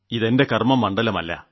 ഇത് എന്റെ കർമ്മമണ്ഡലം അല്ല